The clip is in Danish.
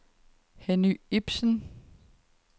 Henny Ipsen